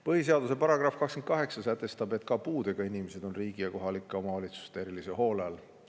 Põhiseaduse § 28 sätestab, et ka puudega inimesed on riigi ja kohalike omavalitsuste erilise hoole all.